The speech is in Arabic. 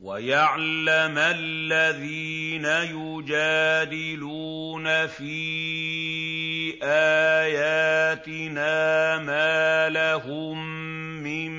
وَيَعْلَمَ الَّذِينَ يُجَادِلُونَ فِي آيَاتِنَا مَا لَهُم مِّن